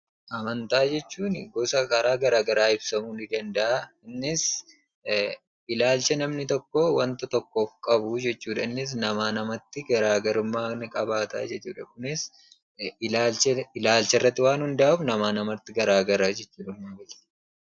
Amantaa jechuun gosa karaa garagaraa ibsamu ni danda'aa. Innis ilaalcha namni tokko wanta tokkoof qabu jechuudha. Innis namaa namatti garaagarummaa ni qabaata jechuudha. Kunis ilaalcharratti waan hunda'uuf namaa namatti garagara jechuudha.